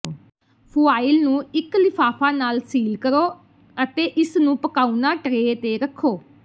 foil ਨੂੰ ਇਕ ਲਿਫ਼ਾਫ਼ਾ ਨਾਲ ਸੀਲ ਕਰੋ ਅਤੇ ਇਸਨੂੰ ਪਕਾਉਣਾ ਟਰੇ ਤੇ ਰੱਖੋ